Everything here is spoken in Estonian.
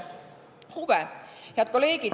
Head kolleegid!